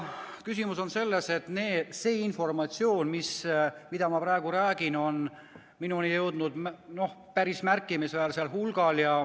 Küsimus on selles, et seda informatsiooni, mida ma praegu edasi annan, on minuni jõudnud päris märkimisväärsel hulgal.